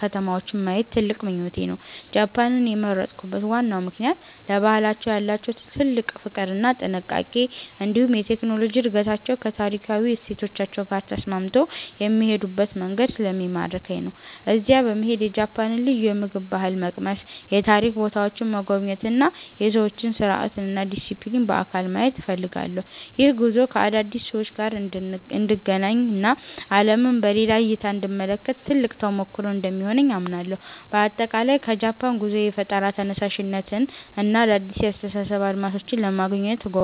ከተማዎችን ማየት ትልቅ ምኞቴ ነው። ጃፓንን የመረጥኩበት ዋናው ምክንያት ለባህላቸው ያላቸውን ጥልቅ ፍቅር እና ጥንቃቄ፣ እንዲሁም የቴክኖሎጂ እድገታቸው ከታሪካዊ እሴቶቻቸው ጋር ተስማምቶ የሚሄዱበት መንገድ ስለሚማርከኝ ነው። እዚያ በመሄድ የጃፓንን ልዩ የምግብ ባህል መቅመስ፣ የታሪክ ቦታዎችን መጎብኘት እና የሰዎችን ስርዓትና ዲሲፕሊን በአካል ማየት እፈልጋለሁ። ይህ ጉዞ ከአዳዲስ ሰዎች ጋር እንድገናኝ እና ዓለምን በሌላ እይታ እንድመለከት ትልቅ ተሞክሮ እንደሚሆነኝ አምናለሁ። በአጠቃላይ ከጃፓን ጉዞዬ የፈጠራ ተነሳሽነትን እና አዳዲስ የአስተሳሰብ አድማሶችን ለማግኘት እጓጓለሁ።